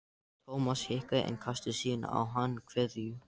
Thomas hikaði en kastaði síðan á hann kveðju.